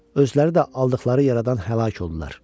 Özləri də aldıqları yaradan həlak oldular.